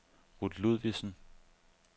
Ruth Ludvigsen